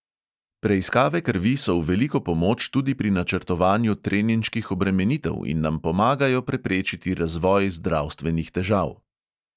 Preiskave krvi so v veliko pomoč tudi pri načrtovanju treninških obremenitev in nam pomagajo preprečiti razvoj zdravstvenih težav.